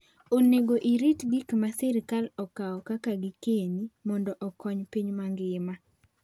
Onego orit gik ma sirkal okawo kaka gikeni mondo okony piny mangima.